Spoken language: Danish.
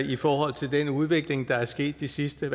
i forhold til den udvikling der er sket de sidste